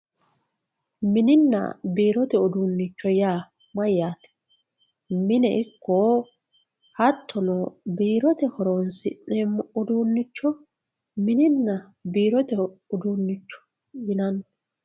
mininna biirote uduunicho yaa mayaate mine ikko hattono biirote horonsi'neemo uduunicho mininna biirote uduunicho yinanni.